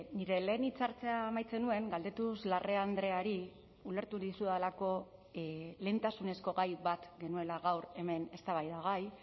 nire lehen hitzartzea amaitzen nuen galdetuz larrea andreari ulertu dizudalako lehentasunezko gai bat genuela gaur hemen eztabaidagai